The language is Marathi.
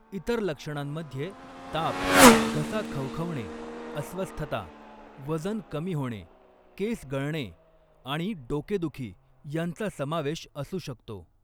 इतर लक्षणांमध्ये ताप, घसा खवखवणे, अस्वस्थता, वजन कमी होणे, केस गळणे आणि डोकेदुखी यांचा समावेश असू शकतो.